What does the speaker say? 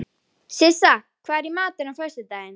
Ég var ekkert að glíma við þetta.